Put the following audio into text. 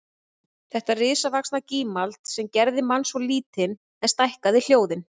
Þetta risavaxna gímald sem gerði mann svo lítinn en stækkaði hljóðin